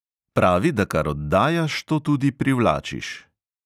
Pravi, da kar oddajaš, to tudi privlačiš.